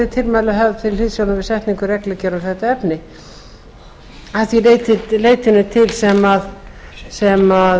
tilmæli höfð til hliðsjónar við setningu reglugerða um þetta efni að því leytinu til sem